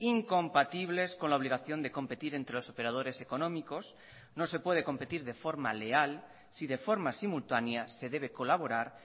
incompatibles con la obligación de competir entre los operadores económicos no se puede competir de forma leal si de forma simultanea se debe colaborar